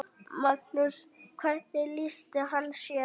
Magnús: Hvernig lýsti hann sér?